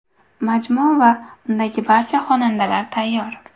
Majmua va undagi barcha xonadonlar tayyor.